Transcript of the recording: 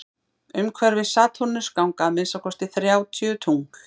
umhverfis satúrnus ganga að minnsta kosti þrjátíu tungl